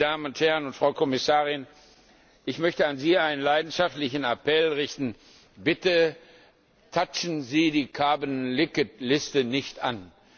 Und, meine Damen und Herren und Frau Kommissarin, ich möchte an Sie einen leidenschaftlichen Appell richten Bitte rühren Sie die carbon leakage Liste nicht